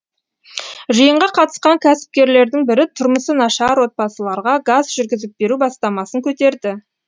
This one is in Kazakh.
жиынға қатысқан кәсіпкерлердің бірі тұрмысы нашар отбасыларға газ жүргізіп беру бастамасын көтерді